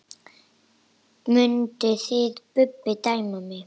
Mynduð þið Bubbi dæma mig?